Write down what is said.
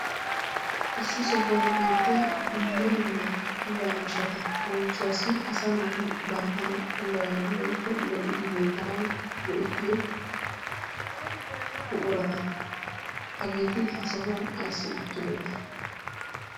Issi sohuwan beettiya dumma dumma puulaa miishshata. Leemisuwaassi asaa naati banttana puulayanawu woyikko lo"idi beettanawu go"ettiyo buqurata. Hageeeti ha sohuwan ayssi uttidonaa?